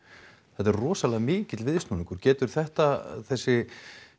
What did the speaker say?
þetta er rosalega mikill viðsnúningur getur þetta þessi